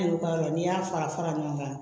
Ne ka yɔrɔ la n'i y'a fara fara ɲɔgɔn kan